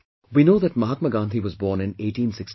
We know that Mahatma Gandhi was born in 1869